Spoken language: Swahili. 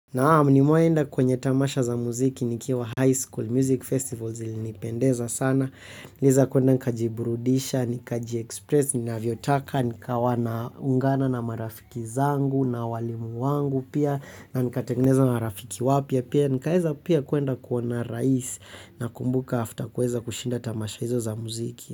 Naam nimewai enda kwenye tamasha za muziki nikiwa highschool music festival zilinipendeza sana niliweza kuenda nikajiburudisha, nikajiexpress, ninavyotaka, nikawa na ungana na marafiki zangu, na walimu wangu pia na nikatekineza marafiki wapya pia, nikaeza pia kuenda kuona rais na kumbuka after kuweza kushinda tamasha hizo za muziki.